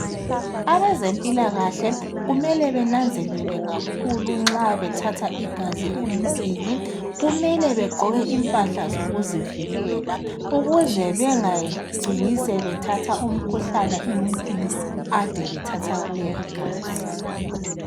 Abezempilakahle kumele bananzelele kakhulu nxa bethatha igazi emuntwini. Kumele begqoke impahla zokuzivikela ukuze bengacini sebethatha umkhuhlane emuntwini ade bethatha kuye igazi.